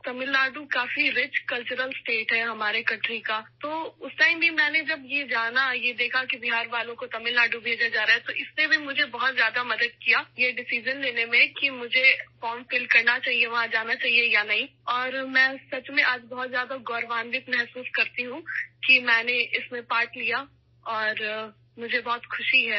تمل ناڈو ہمارے ملک کی ثقافت سے مالا مال ایک ریاست ہے ، تو اس وقت بھی ، جب میں نے جانا ، یہ دیکھا کہ بہار سے لوگوں کو تمل ناڈو بھیجا جا رہا ہے، تو اس نے مجھے فیصلہ کرنے میں بہت مدد کی کہ مجھے فارم بھرنا چاہیئے ، وہاں جانا چاہیے یا نہیں اور سچ میں آج میں بہت زیادہ فخر محسوس کرتی ہوں کہ میں نے اس میں حصہ لیا اور مجھے بہت خوشی ہے